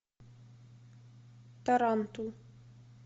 тарантул